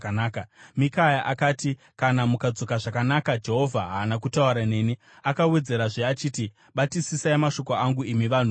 Mikaya akati, “Kana mukadzoka zvakanaka Jehovha haana kutaura neni.” Akawedzerazve achiti, “Batisisai mashoko angu, imi vanhu vose!”